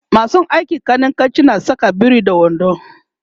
masu aikin kanikanci na Saka biri da wando